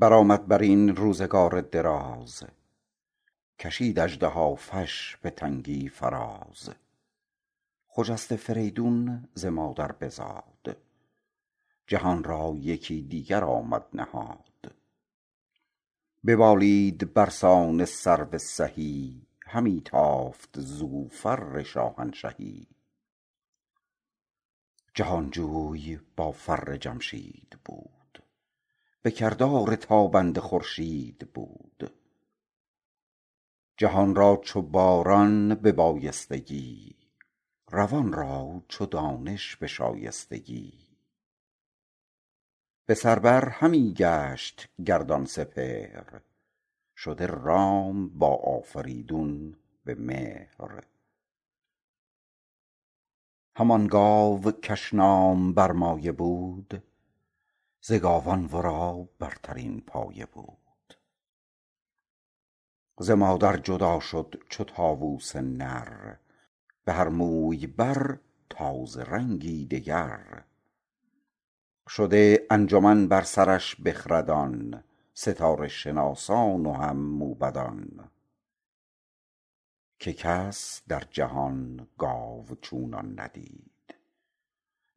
برآمد برین روزگار دراز کشید اژدهافش به تنگی فراز خجسته فریدون ز مادر بزاد جهان را یکی دیگر آمد نهاد ببالید برسان سرو سهی همی تافت زو فر شاهنشهی جهانجوی با فر جمشید بود به کردار تابنده خورشید بود جهان را چو باران به بایستگی روان را چو دانش به شایستگی بسر بر همی گشت گردان سپهر شده رام با آفریدون به مهر همان گاو کش نام برمایه بود ز گاوان ورا برترین پایه بود ز مادر جدا شد چو طاووس نر بهر موی بر تازه رنگی دگر شده انجمن بر سرش بخردان ستاره شناسان و هم موبدان که کس در جهان گاو چونان ندید